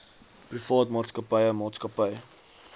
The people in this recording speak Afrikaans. privaat maatskappy maatskappy